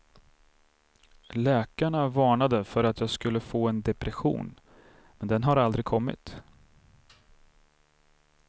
Läkarna varnade för att jag skulle få en depression, men den har aldrig kommit.